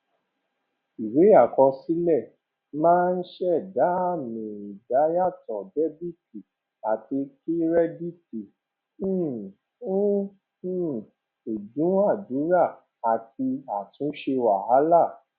ìwé àkọsílẹ máa ń ṣẹda àmì ìdá yàtò dẹbìtì àti kírẹdìtì um fún um ìdúnadúrà àti àtúnṣe wàhálà